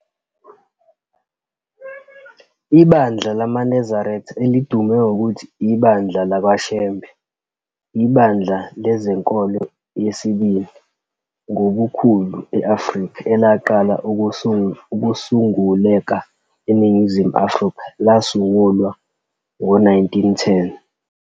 Ibandla lamaNazaretha elidume ngokuthi "iBandla LakwaShembe", ibandla lezenkolo yesibili ngobukhulu e-Afrika elaqala ukusunguleka eNingizimu Afrika, lasungulwa ngo-1910.